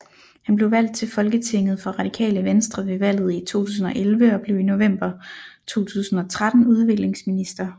Han blev valgt til Folketinget for Radikale Venstre ved valget i 2011 og blev i november 2013 udviklingsminister